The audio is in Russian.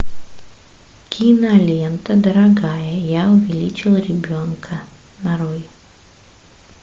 кинолента дорогая я увеличил ребенка нарой